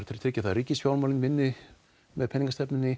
tryggja að ríkisfjármálin vinni með peningastefnunni